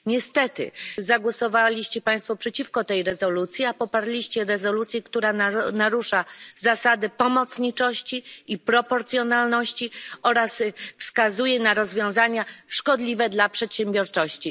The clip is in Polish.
Niestety zagłosowali Państwo przeciwko tej rezolucji, a poparli rezolucję, która narusza zasady pomocniczości i proporcjonalności oraz wskazuje na rozwiązania szkodliwe dla przedsiębiorczości.